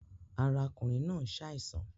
Ara ọkùnrin náà ń ṣàìsàn